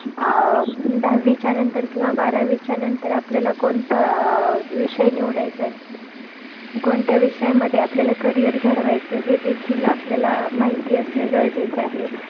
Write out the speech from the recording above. अं दहावीच्या नंतर किंवा बारावीच्या नंतर आपल्या कोणता अं विषय निवडायचाय, कोणत्या विषयामध्ये आपल्याला career घडवायचं हे देखील आपल्याला माहिती असणं गरजेचं आहे.